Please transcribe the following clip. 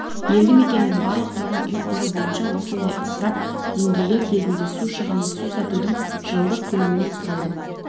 елді мекеннің барлық тұрғын үй қоры бойынша осындай ысырап деңгейі кезінде су шығыны су сатудың жылдық көлемінің құрайды